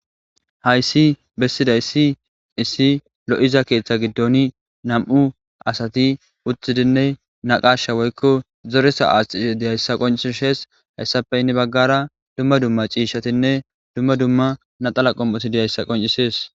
hayssi bessiday si issi lo7iza keeththa giddon nam7u asati uthidinne naqasha woykko zoresa aascishe diyayssa qoncishes hayssappeynni baggara dumma dumma ciishshatinne dumma dumma naxala qom7oti diyayssa qoncisees